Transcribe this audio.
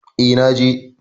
Eh, na je.